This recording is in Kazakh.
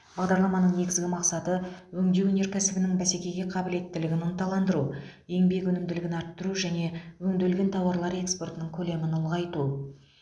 бағдарламаның негізгі мақсаты өңдеу өнеркәсібінің бәсекеге қабілеттілігін ынталандыру еңбек өнімділігін арттыру және өңделген тауарлар экспортының көлемін ұлғайту